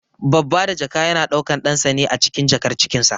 Babba da jaka yana daukan ɗansa ne acikin jakar cikinsa.